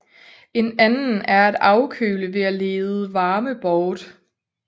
En anden er at afkøle ved at lede varme bort